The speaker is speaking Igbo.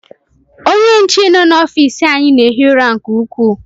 Ónyé nche nọ n'ofici anyị na-ehi ụra nke ukwuu.